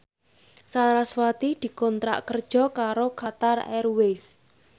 sarasvati dikontrak kerja karo Qatar Airways